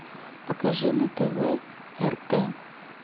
покажи на тв рт